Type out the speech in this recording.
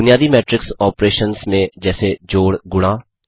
बुनियादी matrix operations में जैसे जोड़ गुणा